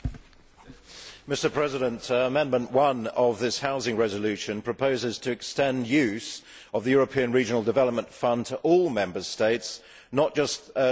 Mr President, Amendment 1 of this housing resolution proposes to extend use of the European Regional Development Fund to all Member States, not just those joining in